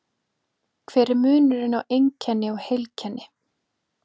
Hver er munurinn á einkenni og heilkenni?